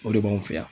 O de b'anw fɛ yan